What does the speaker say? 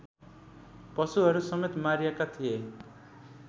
पशुहरूसमेत मारिएका थिए